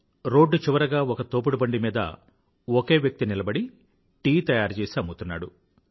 road చివరగా ఒక తోపుడుబండి మీద ఒకే వ్యక్తి నిలబడి టీ తయారుచేసి అమ్ముతున్నాడు